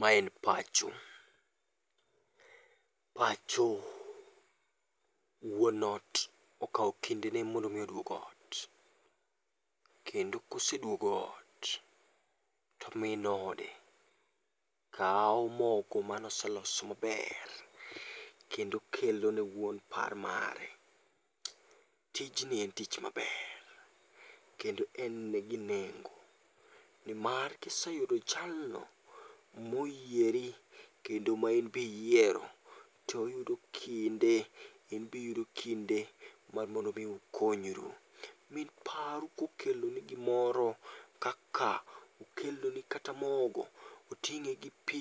Ma en pacho, pacho wuon ot okawo kinde ne mondo mi oduog ot. Kendo koseduogo ot to min ode kawo moko manoseloso maber kendo kelo ne wuon par mare. Tijni en tich maber kendo en gi nengo. Nimar kiseyudo jalno moyieri kendo ma inbiyiero, toyudo kinde in bi yudo kinde mukonyru. Min paru kokeloni gimoro, kaka okeloni kata mogo, oting'e gi pi,